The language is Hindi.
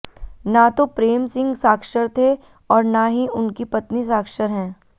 न तो प्रेम सिंह साक्षर थे और न ही उनकी पत्नी साक्षर हैं